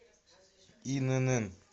инн